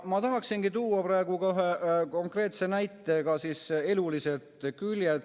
Ma tahangi tuua konkreetse näite eluliselt küljelt.